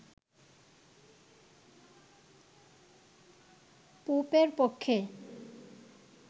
পোপের পক্ষে